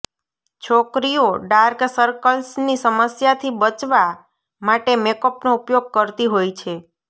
છોકરીઓ dark circles ની સમસ્યા થી બચવા માટે મેકઅપ નો ઉપયોગ કરતી હોય છે